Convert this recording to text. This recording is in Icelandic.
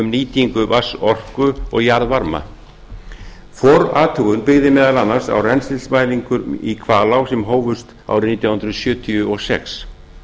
nýtingu vatnsorku og jarðvarma forathugun byggði meðal annars á rennslismælingum í hvalá sem hófust árið nítján hundruð sjötíu og sex